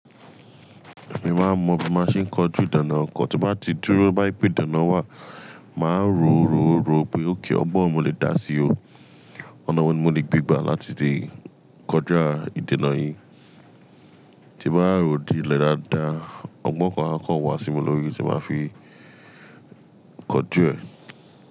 Èmi máa ń mọ bí mo ṣe ń kọjú ìdènà ọkọ̀, tí bá ti dúró bá ìpè dènà wà, màá rò ó rò ó rò ó pé ókè ọgbọ́n mo lè dá sí o. Ọ̀nà wọ̀ní mo lè gbígba láti lè kọja ìdènà yìí. Tí bá rò dílẹ̀ dáadáa, ọgbọ́n kan há kàn wá sí mi lórí tí màá fi kọjú ẹ̀